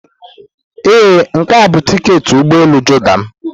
Ee, nke a bụ tiketi ụgbọ elu Jordan m.